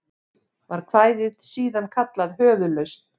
Var kvæðið síðan kallað Höfuðlausn.